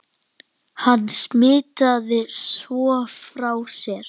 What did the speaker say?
Hann smitaði svo frá sér.